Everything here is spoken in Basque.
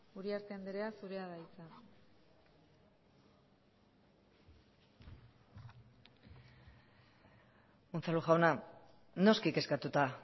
uriarte andrea zurea da hitza unzalu jauna noski kezkatuta